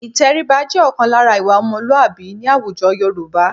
Ìtẹríba jẹ́ ọ̀kan lára ìwà ọmọlúàbí ní àwùjọ Yorùbá